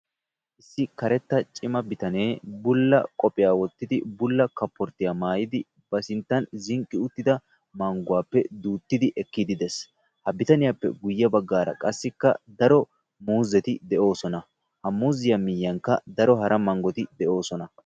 issi karetta cima bitanee bulla qophiya wotidi bulla kaportiya maayidi ba sintan zinqqi uttida manguwaappe miidi de'ees. ha bitanniyaape guye bagaara qassika daro muuzzeti de'oosona. ha muuzziyappeka guye bagaara daro hara mangoti de'oosona.